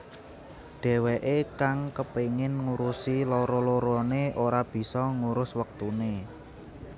Dheweké kang kepengin ngurusi loro loroné ora bisa ngurus wektuné